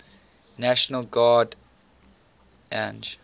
national guard ang